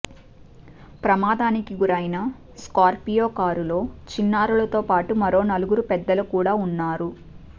ప్రమాదానికి గురైన స్కార్పియో కారులో చిన్నారులతో పాటు మరో నలుగురు పెద్దలు కూడా ఉన్నారు